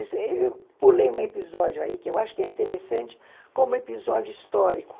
Eu pulei um episódio aí, que eu acho que é interessante, como episódio histórico.